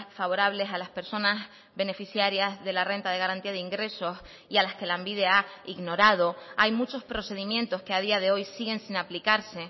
favorables a las personas beneficiarias de la renta de garantía de ingresos y a las que lanbide ha ignorado hay muchos procedimientos que a día de hoy siguen sin aplicarse